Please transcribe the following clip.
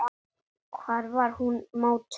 Hvar var hún mótuð?